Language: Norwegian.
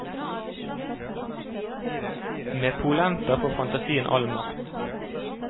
Med polenta får fantasien all makt.